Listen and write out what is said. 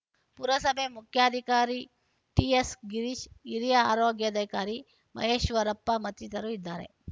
ಪುರಸಭೆ ಮುಖ್ಯಾಧಿಕಾರಿ ಟಿಎಸ್‌ಗಿರೀಶ್‌ ಹಿರಿಯ ಆರೋಗ್ಯಾಧಿಕಾರಿ ಮಹೇಶ್ವರಪ್ಪ ಮತ್ತಿತರರು ಇದ್ದಾರೆ